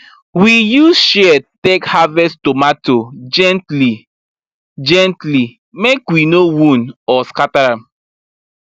we use shears take harvest tomato gentlygently make we no wound or scatter am